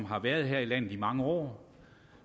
har været her i landet i mange år og